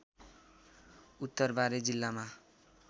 उत्तर बारा जिल्लामा